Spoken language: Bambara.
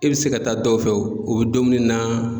I bɛ se ka taa dɔw fɛ o bɛ domini na.